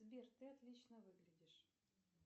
сбер ты отлично выглядишь